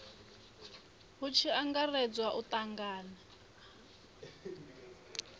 hu tshi angaredzwa u tangana